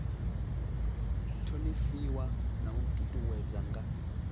thonifhiwa na u ṱuṱuwedzwa nga